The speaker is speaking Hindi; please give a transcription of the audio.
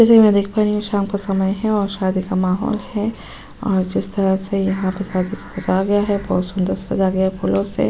जैसे कि मैं देख पा रही हूं शाम का समय है और शादी का माहौल है। और जिस तरह से यहां पे शादी पे सजाया गया है बहोत सुंदर से सजाया गया है फूलों से।